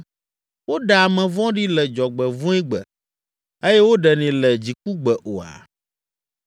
woɖea ame vɔ̃ɖi le dzɔgbevɔ̃egbe, eye woɖenɛ le dzikugbe oa?